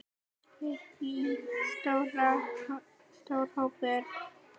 Lillý: Stór hópur?